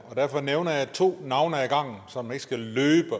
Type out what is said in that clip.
og derfor nævner jeg to navne ad gangen så man ikke skal løbe